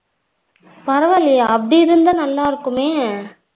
பரவ இல்லையே அப்டி இருந்த நல்லா இருக்குமே